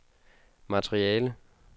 materiale